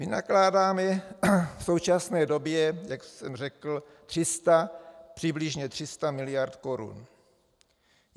Vynakládáme v současné době, jak jsem řekl, přibližně 300 miliard korun.